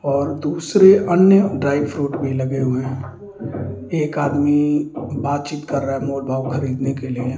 और दूसरे अन्य ड्राई फ्रूट भी लगे हुए हैं एक आदमी बातचीत कर रहा है मोल भाव खरीदने के लिए --